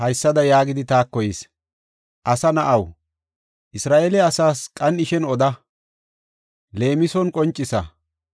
“Asa na7aw, Isra7eele asaas qan7ishin oda; leemison qoncisa.